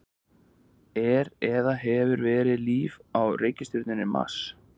er eða hefur verið líf á reikistjörnunni mars